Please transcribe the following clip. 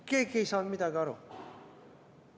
Keegi ei saanud midagi aru.